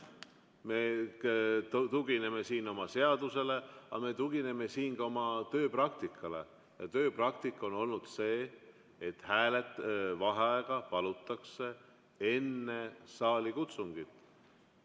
Me tugineme siin seadusele, aga me tugineme ka oma tööpraktikale ja tööpraktika on olnud see, et vaheaega palutakse enne saalikutsungit.